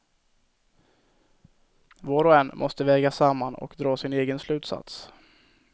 Var och en måste väga samman och dra sin egen slutsats.